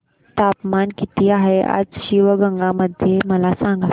तापमान किती आहे आज शिवगंगा मध्ये मला सांगा